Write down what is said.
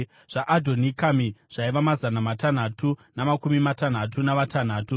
zvaAdhonikami zvaiva mazana matanhatu namakumi matanhatu navatanhatu;